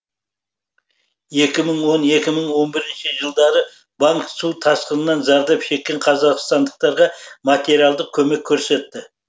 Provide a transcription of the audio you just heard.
екі мың он екі мың он бірінші жылдары банк су тасқынынан зардап шеккен қазақстандықтарға материалдық көмек көрсетті